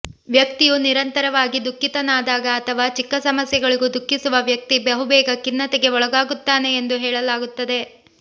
ವ್ಯಕ್ತಿಯು ನಿರಂತರವಾಗಿ ದುಃಖಿತನಾದಾಗ ಅಥವಾ ಚಿಕ್ಕ ಸಮಸ್ಯೆಗಳಿಗೂ ದುಃಖಿಸುವ ವ್ಯಕ್ತಿ ಬಹುಬೇಗ ಖಿನ್ನತೆಗೆ ಒಳಗಾಗುತ್ತಾನೆ ಎಂದು ಹೇಳಲಾಗುತ್ತದೆ